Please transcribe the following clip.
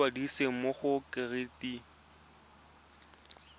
ikwadisa mo go kereite r